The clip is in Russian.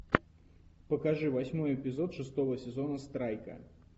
покажи восьмой эпизод шестого сезона страйка